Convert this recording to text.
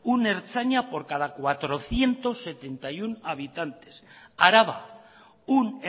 un ertzaina por cada cuatrocientos setenta y uno habitantes araba un